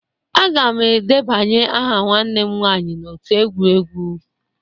Aga m edebanye aha nwanne m nwaanyị n'otu egwu egwu